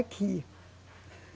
Aqui.